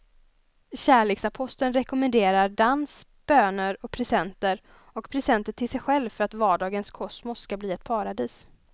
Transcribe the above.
Kärleksaposteln rekommenderar dans, böner och presenter och presenter till sig själv för att vardagens kosmos ska bli ett paradis.